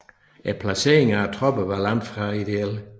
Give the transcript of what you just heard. Placeringen af tropperne var langt fra ideel